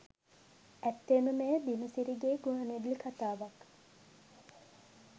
ඇත්තෙන්ම මෙය දිනසිරිගේ ගුවන්විදුලි කතාවක්